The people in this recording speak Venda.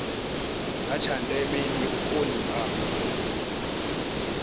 tsha ndeme ndi vhukoni ha